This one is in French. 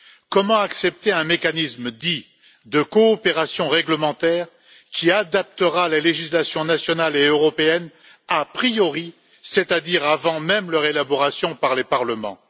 Comment accepter un mécanisme dit de coopération réglementaire, qui adaptera la législation nationale et européenne a priori, c'est à dire avant même leur élaboration par les parlements?